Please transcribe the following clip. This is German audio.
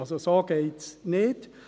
Also, so geht es nicht.